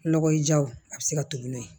Nɔgɔ jaw a bɛ se ka to n'o ye